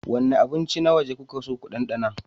Wane abinci na waje kuke so ku ɗanɗana?